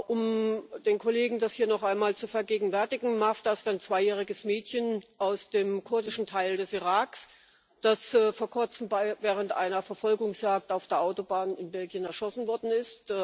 Um den Kollegen das hier noch einmal zu vergegenwärtigen Mafda ist ein zweijähriges Mädchen aus dem kurdischen Teil des Iraks, das vor kurzem während einer Verfolgungsjagd auf der Autobahn in Belgien erschossen worden ist.